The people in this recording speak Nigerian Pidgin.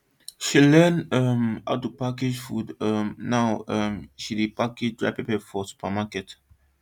she learn um how to package food um now um she dey package dry pepper for supermarket